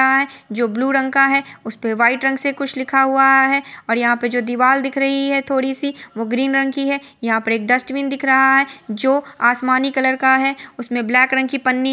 -- अ जो ब्लू रंग का है उस पे वाइट रंग से कुछ लिखा हुवा है और यहाँ पर जो दीवाल दिख रही है थोड़ी सी वो ग्रीन रंग की है यहाँ पर एक एक डस्टबिन दिख रहा है जो आसमानी कलर का है उसमें ब्लैक रंग की पन्नी --